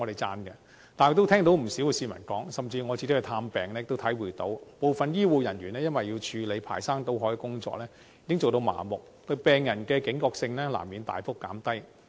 但是，我亦聽到不少市民說，甚至我去探病時也體會到，部分醫護人員要處理排山倒海的工作，已經做到相當麻木，對病人的警覺性難免大幅減低。